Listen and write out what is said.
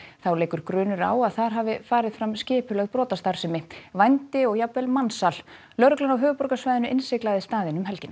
þá leikur grunur á að þar hafi farið fram skipulögð brotastarfsemi vændi og jafnvel mansal lögreglan á höfuðborgarsvæðinu innsiglaði staðinn um helgina